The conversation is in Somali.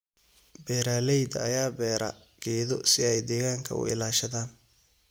Beeralayda ayaa beera geedo si ay deegaanka u ilaashadaan.